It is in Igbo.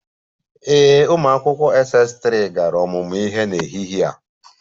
Ee, ụmụ akwụkwọ Ss3 gara ọmụmụ ihe n'ehihie a